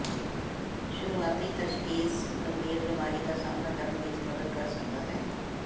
ਸ਼ੁਰੂਆਤੀ ਤਸ਼ਖੀਸ ਗੰਭੀਰ ਬੀਮਾਰੀ ਦਾ ਸਾਮ੍ਹਣਾ ਕਰਨ ਵਿਚ ਮਦਦ ਕਰ ਸਕਦਾ ਹੈ